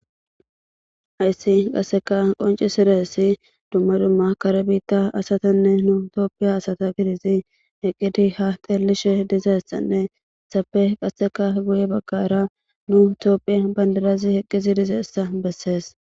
Hayssi qasseka qoncisidayssi dumma dumma kare biita asatanne nu tophphiya asata gididi eqqidi ha xeelishe dizayssanne hessappe qasseka guye bagaara nu tophphiyan bandirazi eqqidi dizayssa besees.